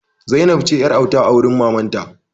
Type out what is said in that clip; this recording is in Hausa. Zainab ce yar'auta a wurin mamanta.